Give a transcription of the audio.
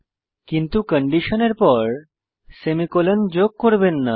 কিন্তু কন্ডিশনের পর সেমিকোলন যোগ করবেন না